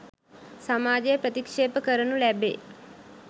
සමාජය ප්‍රතික්‍ෂේප කරනු ලැබේ.